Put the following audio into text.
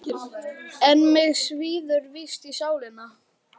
En mig svíður víst í sálina.